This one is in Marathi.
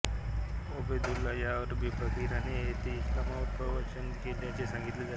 ओबेदुल्ला या अरबी फकिराने येथे इस्लामवर प्रवचने केल्याचे सांगितले जाते